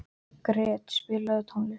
Gret, spilaðu tónlist.